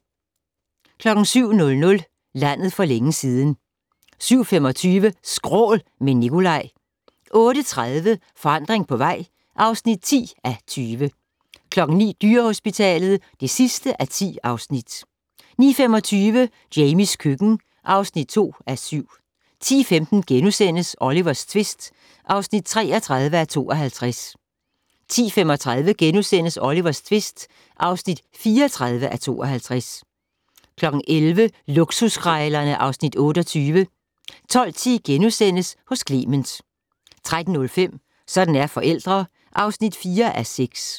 07:00: Landet for længe siden 07:25: Skrål - med Nicolaj 08:30: Forandring på vej (10:20) 09:00: Dyrehospitalet (10:10) 09:25: Jamies køkken (2:7) 10:15: Olivers tvist (33:52)* 10:35: Olivers tvist (34:52)* 11:00: Luksuskrejlerne (Afs. 28) 12:10: Hos Clement * 13:05: Sådan er forældre (4:6)